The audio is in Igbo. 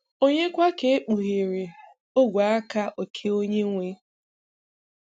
ònye kwa ka ekpughere ogwe-aka oke Onye-nwe?